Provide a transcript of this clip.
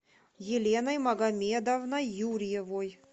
еленой магомедовной юрьевой